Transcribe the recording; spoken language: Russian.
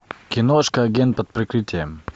киношка агент под прикрытием